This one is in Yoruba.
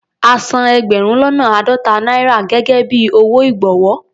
A san ẹgbẹ̀rún lọ́nà àádọ́ta náírà gẹ́gẹ́ bí owó ìgbọ̀wọ́.